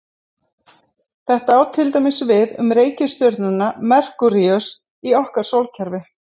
Þetta á til dæmis við um reikistjörnuna Merkúríus í okkar sólkerfi.